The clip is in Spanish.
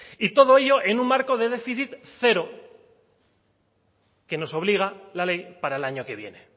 y todo ello en un marco de déficit cero que nos obliga la ley para el año que viene